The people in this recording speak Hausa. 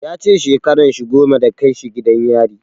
Ya ce shekaran shi goma da kai shi gidan yari.